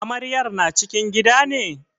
Amaryar na cikin gida ne?